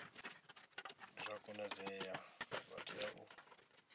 zwa konadzea vha tea u